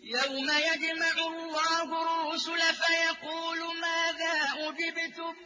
۞ يَوْمَ يَجْمَعُ اللَّهُ الرُّسُلَ فَيَقُولُ مَاذَا أُجِبْتُمْ ۖ